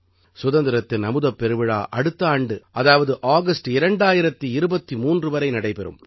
சுதந்திரத்தின் அமுதப்பெருவிழா அடுத்த ஆண்டு அதாவது ஆகஸ்ட் 2023 வரை நடைபெறும்